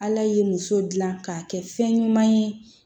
Ala ye muso dilan k'a kɛ fɛn ɲuman ye